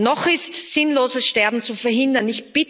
Noch ist sinnloses Sterben zu verhindern.